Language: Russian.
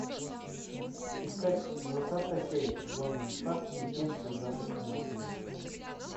искать двадцатая серия сезона два легенды завтрашнего дня